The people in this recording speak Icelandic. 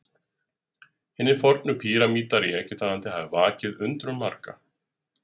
Hinir fornu píramídar í Egyptalandi hafa vakið undrun margra.